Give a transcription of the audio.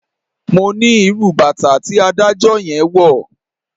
Mo ní irú bàtà tí adájọ́ yẹn wọ̀.